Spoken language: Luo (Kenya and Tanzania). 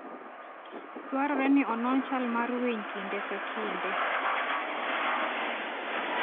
Dwarore ni onon chal mar winy kinde ka kinde.